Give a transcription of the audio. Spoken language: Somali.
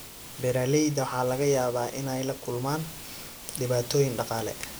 Beeralayda waxaa laga yaabaa inay la kulmaan dhibaatooyin dhaqaale.